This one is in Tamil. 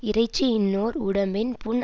இறைச்சி இன்னோர் உடம்பின் புண்